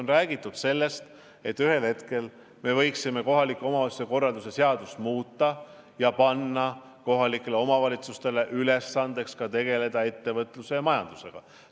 On räägitud sellest, et ühel hetkel me võiksime kohaliku omavalitsuse korralduse seadust muuta ja teha kohalikele omavalitsustele ülesandeks tegeleda ka ettevõtluse ja üldse majandusega.